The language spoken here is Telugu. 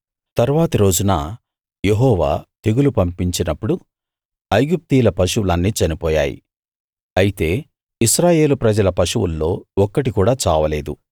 తరువాతి రోజున యెహోవా తెగులు పంపించినప్పుడు ఐగుప్తీయుల పశువులన్నీ చనిపోయాయి అయితే ఇశ్రాయేలు ప్రజల పశువుల్లో ఒక్కటి కూడా చావలేదు